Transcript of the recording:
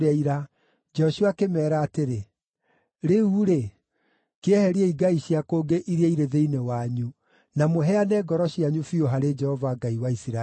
Joshua akĩmeera atĩrĩ, “Rĩu-rĩ, kĩeheriei ngai cia kũngĩ iria irĩ thĩinĩ wanyu, na mũheane ngoro cianyu biũ harĩ Jehova Ngai wa Isiraeli.”